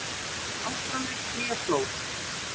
Ástralir flýja flóð